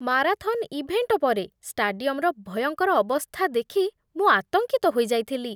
Marathon event ପରେ ଷ୍ଟାଡିୟମର ଭୟଙ୍କର ଅବସ୍ଥା ଦେଖି ମୁଁ ଆତଙ୍କିତ ହୋଇଯାଇଥିଲି।